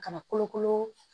Kana kolokolo